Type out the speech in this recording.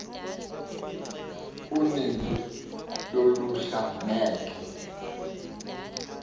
uninzi lolutsha ngeke